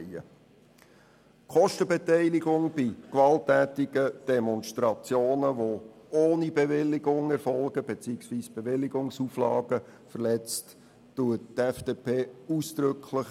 Die Kostenbeteiligung bei gewalttätigen Demonstrationen, die ohne Bewilligung erfolgen beziehungsweise bei welchen die Bewilligungsauflagen verletzt werden, begrüsst die FDP ausdrücklich.